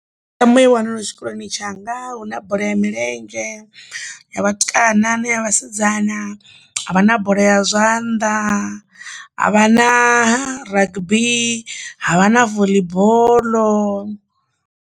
Mitambo i wanalaho tshikoloni tshanga hu na bola ya milenzhe ya vhatukana na ya vhasidzana, ha vha na bola ya zwanḓa ha vha na rugby ha vha na voḽi boḽo.